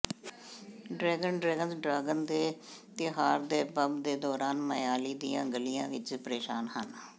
dragon dragons dragon ਦੇ ਤਿਉਹਾਰ ਦੇ ਬੰਬ ਦੇ ਦੌਰਾਨ ਮਾਇਆਲੀ ਦੀਆਂ ਗਲੀਆਂ ਵਿੱਚ ਪਰੇਸ਼ਾਨ ਹਨ